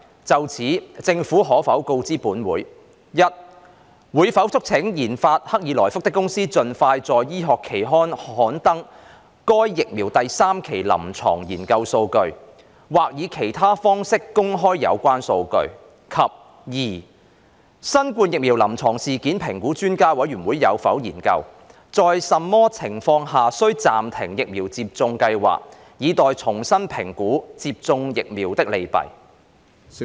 就此，政府可否告知本會：一會否促請研發克爾來福的公司盡快在醫學期刊刊登該疫苗第三期臨床研究數據，或以其他方式公開有關數據；及二新冠疫苗臨床事件評估專家委員會有否研究，在甚麼情況下需暫停疫苗接種計劃，以待重新評估接種疫苗的利弊？